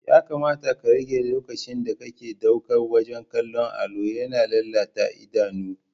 Ya kamata ka rage lokacinda kake ɗauka wajen kallon allo, yana lalata idanu.